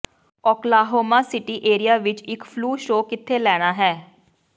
Oklahoma city ਏਰੀਏ ਵਿੱਚ ਇੱਕ ਫਲੂ ਸ਼ੋਅ ਕਿੱਥੇ ਲੈਣਾ ਹੈ